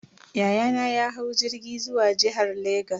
Yayana ya hau jirgi zuwa jihar Legas.